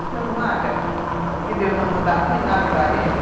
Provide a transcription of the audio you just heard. Você não acha que Deus não manda ruim nada para gente?